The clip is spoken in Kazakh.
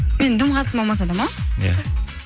менің дым қатысым болмасада ма иә